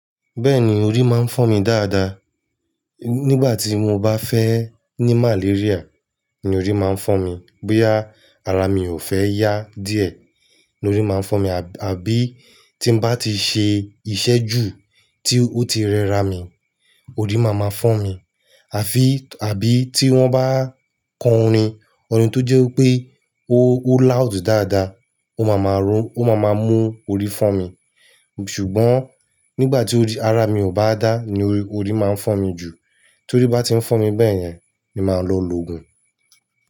Bẹ́ẹ̀ni, orí máa ń fọ́n mi dáadáa. Nígbà tí mo bá fẹ́ ní malaria ni orí máa ń fọ́n mi. Bóyá ara mi ò fẹ́ yá díẹ̀ ni orí máa ń fọ́ mi. Àbí tí n bá ti ṣe iṣẹ́ jù ti o ti rẹra mi, orí máa ma fọ́ mi. Àfi, àbí tí wọ́n bá ko orin, orin tó jẹ́ pé ó loud dáadáa, ó máa ma mú orí fọ́ mi. Ṣùgbọ́n nígbà tí ara mi ò bá dá ni orí máa ń fọ́ mi jù. Tí orí bá ti ń fọ́ mi bẹ́yẹn, mi máa lọ loògùn.